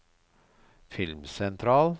filmsentral